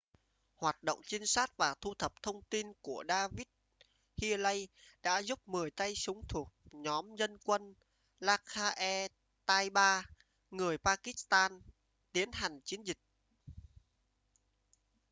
hoạt động trinh sát và thu thập thông tin của david headley đã giúp 10 tay súng thuộc nhóm dân quân laskhar-e-taiba người pakistan tiến hành chiến dịch